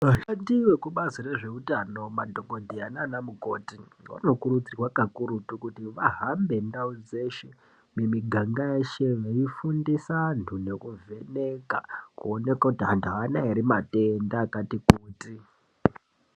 Vashandi vekubazi rezveutano, madhokodheya naanamukoti, vanokurudzirwa kakurutu kuti vahambe ndau dzeshe, mumiganga yeshe, veifundisa antu nekuvheneka, kuone kuti antu aana ere matenda akati kuti.